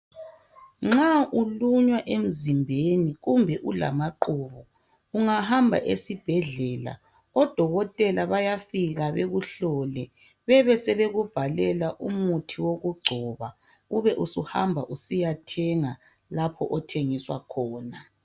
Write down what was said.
Nxa ulunywa emzimbeni kumbe ulamaqubu uyahamba esibhedlela odokotela bafike bakubhalele umuthi uhambe uyethenga umuthi ozawugcoba lapho olunywa khona.